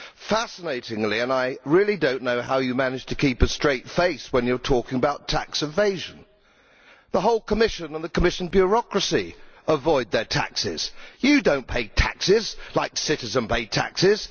Fascinatingly and I really do not know how they manage to keep a straight face when they are talking about tax evasion the whole Commission and the Commission bureaucracy avoid their taxes. They do not pay taxes like citizens pay taxes.